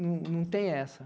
Não não tem essa.